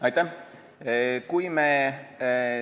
Aitäh!